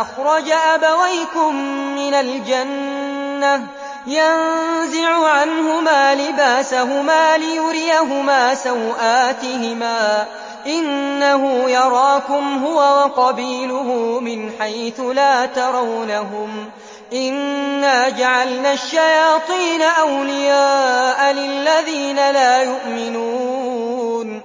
أَخْرَجَ أَبَوَيْكُم مِّنَ الْجَنَّةِ يَنزِعُ عَنْهُمَا لِبَاسَهُمَا لِيُرِيَهُمَا سَوْآتِهِمَا ۗ إِنَّهُ يَرَاكُمْ هُوَ وَقَبِيلُهُ مِنْ حَيْثُ لَا تَرَوْنَهُمْ ۗ إِنَّا جَعَلْنَا الشَّيَاطِينَ أَوْلِيَاءَ لِلَّذِينَ لَا يُؤْمِنُونَ